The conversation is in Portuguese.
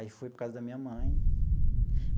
Aí, foi por causa da minha mãe.